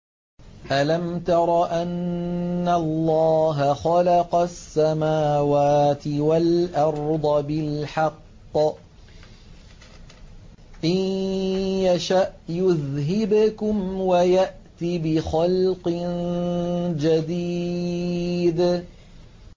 أَلَمْ تَرَ أَنَّ اللَّهَ خَلَقَ السَّمَاوَاتِ وَالْأَرْضَ بِالْحَقِّ ۚ إِن يَشَأْ يُذْهِبْكُمْ وَيَأْتِ بِخَلْقٍ جَدِيدٍ